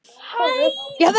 net í dag?